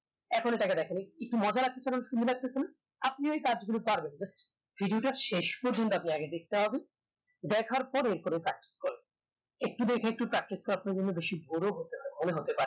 এখনো তাকে দেখেনি এক মজার simulation আপনি ওই কাজ গুলো পারবেন video টা শেষ পর্যন্ত আপনাকে দেখতে হবে দেখার পরে কোনো একটু দেখে একটু দেখে একটু কাটলে আপনাকে বেশি